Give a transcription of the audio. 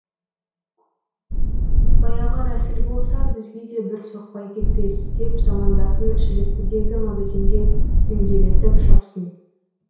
баяғы рәсіл болса бізге де бір соқпай кетпес деп замандасың шіліктідегі магазинге түнделетіп шапсын